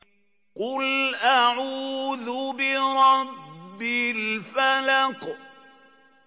قُلْ أَعُوذُ بِرَبِّ الْفَلَقِ